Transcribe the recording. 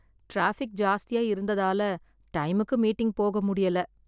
Traffic ஜாஸ்தியா இருந்ததால டைமுக்கு மீட்டிங் போக முடியல.